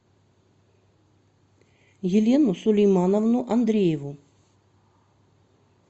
елену сулеймановну андрееву